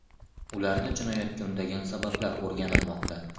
Ularni jinoyatga undagan sabablar o‘rganilmoqda.